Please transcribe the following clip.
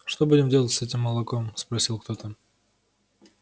что будем делать с этим молоком спросил кто-то